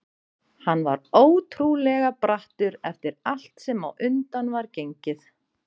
Hann var ótrúlega brattur eftir allt sem á undan var gengið.